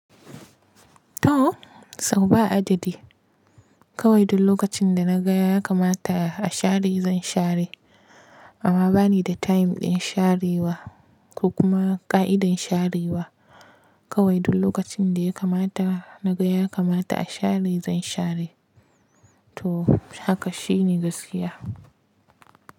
To, sau ba ajiɗi. Kawai duk lokacin da na gaya ya kamata a share zan share. Amma bani da time ɗin sharewa ko kuma ƙa'idar sharewa. Kawai duk lokacin da ya kamata na gaya ya kamata a share zan share. To haka shi ne gaskiya.